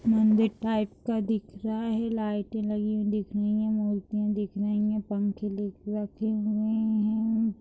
मंदिर टाइप का दिख रहा है लाइटे लगी हुई दिख रही है मुर्तिया दिख रहे है पंखे दिख रखे हुए है।